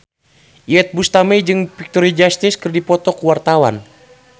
Iyeth Bustami jeung Victoria Justice keur dipoto ku wartawan